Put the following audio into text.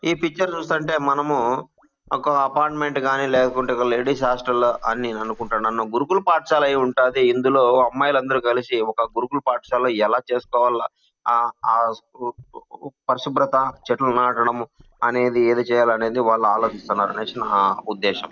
ఈ పిక్చర్ చూస్తుంటే మనము ఒక అపార్ట్మెంట్ గాని లేకుంటే లేడీస్ హాస్టల్ లో అన్ని అనుకుంట నన్ను గురుకుల పాఠశాల అయి ఉంటాది ఇందులో అమ్మాయిలు అందరూ కలిసి ఒక గురుకుల పాఠశాలలో ఎలా చేసుకోవాలా ఆ ఆ పరిశుభ్రత చెట్లు నాటడం అనేది ఏది చేయాలనేది వాళ్ళు ఆలోచిస్తున్నారు అనేసి నా ఉద్దేశం.